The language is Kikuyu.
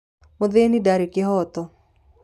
Mũthĩni ndarĩ kĩihoto.